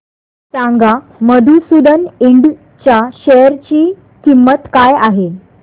सांगा मधुसूदन इंड च्या शेअर ची किंमत काय आहे